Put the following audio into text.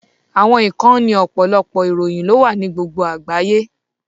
Àwọn ìkànnì ọ̀pọ̀lọpọ̀ ìròyìn ló wà ní gbogbo àgbáyé